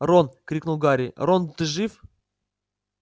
рон крикнул гарри рон ты жив